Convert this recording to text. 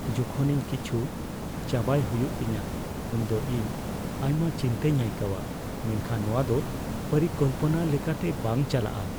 ᱡᱚᱠᱷᱚᱱ ᱤᱧ ᱠᱤᱪᱷᱩ ᱪᱟᱵᱟᱭ ᱦᱩᱭᱩᱜ ᱛᱤᱧᱟᱹ ᱩᱱᱫᱚ ᱤᱧ ᱟᱭᱢᱟ ᱪᱤᱱᱛᱟᱹᱧ ᱟᱭᱠᱟᱹᱣᱟ ᱢᱮᱱᱠᱷᱟᱱ ᱱᱚᱶᱟ ᱫᱚ ᱯᱚᱨᱤᱠᱚᱞᱯᱚᱱᱟ ᱞᱮᱠᱟᱛᱮ ᱵᱟᱝ ᱪᱟᱞᱟᱜᱼᱟ ᱾